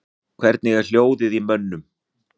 Hvernig er hljóðið í mönnum?